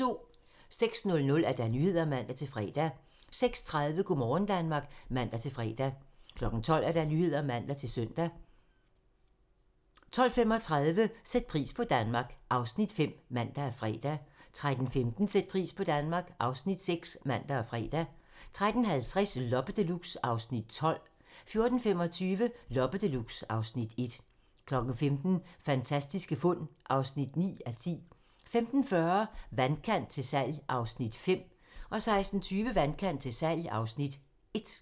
06:00: Nyhederne (man-fre) 06:30: Go' morgen Danmark (man-fre) 12:00: Nyhederne (man-søn) 12:35: Sæt pris på Danmark (Afs. 5)(man og fre) 13:15: Sæt pris på Danmark (Afs. 6)(man og fre) 13:50: Loppe Deluxe (Afs. 12) 14:25: Loppe Deluxe (Afs. 1) 15:00: Fantastiske fund (9:10) 15:40: Vandkant til salg (Afs. 5) 16:20: Vandkant til salg (Afs. 1)